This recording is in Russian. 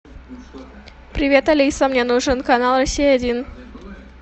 привет алиса мне нужен канал россия один